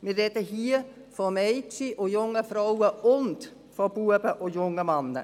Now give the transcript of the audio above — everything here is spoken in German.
Wir sprechen hier von Mädchen und jungen Frauen und von Knaben und jungen Männern.